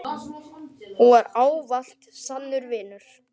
Hún var ávallt sannur vinur.